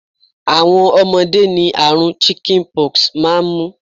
Àwọn ọmọdé ni àrùn 'chicken pox' maa n sábà mú.